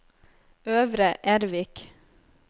Øvre Ervik